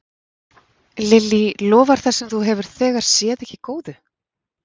Lillý, lofar það sem þú hefur þegar séð ekki góðu?